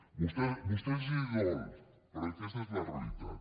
a vostès els dol però aquesta és la realitat